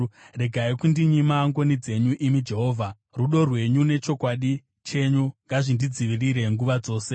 Regai kundinyima ngoni dzenyu, imi Jehovha; rudo rwenyu nechokwadi chenyu ngazvindidzivirire nguva dzose.